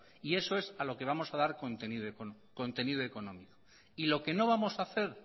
y eso es a lo que vamos a dar contenido económico y lo que no vamos a hacer